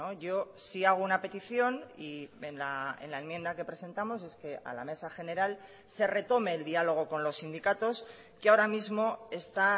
yo sí hago una petición y en la enmienda que presentamos es que a la mesa general se retome el diálogo con los sindicatos que ahora mismo está